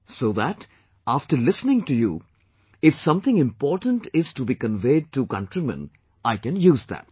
So that, after listening to you, if something important is to be conveyed to countrymen, I can use that